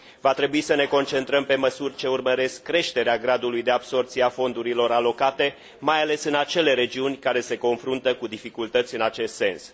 Va trebui să ne concentrăm pe măsuri ce urmăresc creșterea gradului de absorbție a fondurilor alocate, mai ales în acele regiuni care se confruntă cu dificultăți în acest sens.